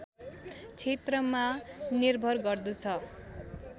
क्षेत्रमा निर्भर गर्दछ